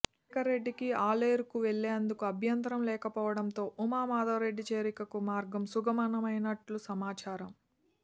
శేఖర్రెడ్డికి ఆలేరుకు వెళ్ళేందుకు అభ్యంతరం లేకపోవడంతో ఉమా మాధవరెడ్డి చేరికకు మార్గం సుగమమైనట్లు సమాచారం